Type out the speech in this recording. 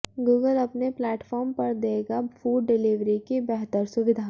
Google अपने platform पर देगा फूड डिलीवरी की बेहतर सुविधा